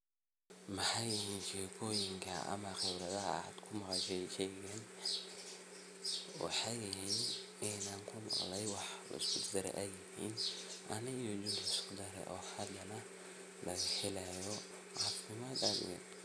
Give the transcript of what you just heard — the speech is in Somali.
Maxay yihin sheekoyinkan khibradaha maxey yihin waxa jusyada lagu daro oo si wanagsan loo hagajiyo.